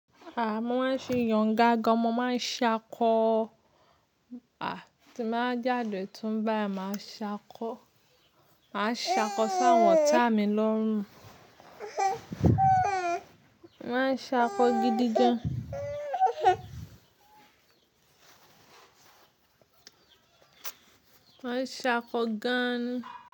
A mo máa ń ṣe yàn ga gan. Mo máa ń ṣákọ. A ti n ba jádè tun báyìí màá ṣákọ. Máa ń ṣákọ sáwọn ta mi lọ́rùn. Máa ń ṣákọ gidi gan. Máa ń ṣákọ gan ni.